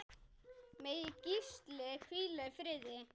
Megi Gísli hvíla í friði.